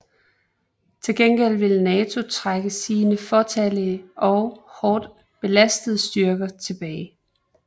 Til gengæld ville NATO trække sine fåtallige og hårdt belastede styrker tilbage